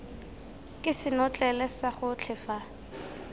ke senotlele sa gotlhe fa